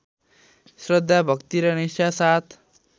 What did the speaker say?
श्रद्धा भक्ति र निष्ठासाथ